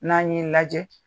N'an ɲe lajɛ